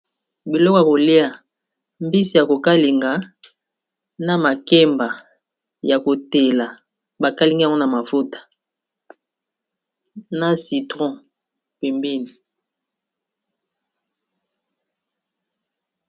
Biloko ya kolia mbisi ya kokalinga na makemba ya kotela bakalingi yango na mafuta na citron pembeni.